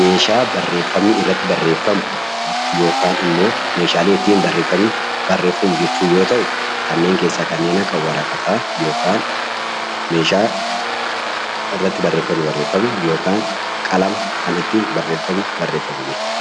meeshaalee barreeffamni irratti barreeffamu yookaan immoo meeshaalee barreeffamni ittiin barreeffamu jechuu yoo ta'u, kanneen keessaa kanneen akka waraqataa, meeshaa barreeffamni irratti barreeffamu yookaan qalama kan ittiin barreeffamni barreeffamu jechuudha